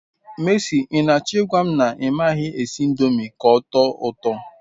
Mercy, I nacho igwam na I maghi esi indomi k'otoo uto